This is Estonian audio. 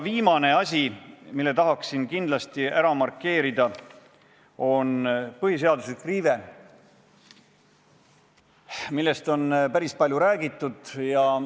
Viimane asi, mille tahaksin kindlasti ära markeerida, on põhiseaduse riive, millest on päris palju räägitud.